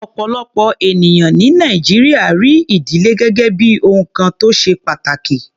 Ọ̀pọ̀lọpọ̀ ènìyàn ní Nàìjíríà rí ìdílé gẹ́gẹ́ bí ohun kan tó ṣe pàtàkì.